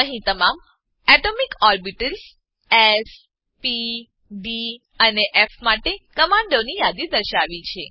અહીં તમામ atomic orbitals s p d અને ફ માટે કમાંડોની યાદી દર્શાવી છે